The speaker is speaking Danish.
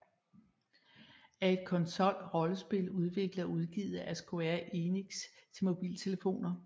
er et konsolrollespil udviklet og udgivet af Square Enix til mobiltelefoner